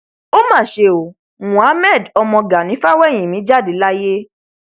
ó mà ṣe o mohammed ọmọ gani fawéhínmí jáde láyé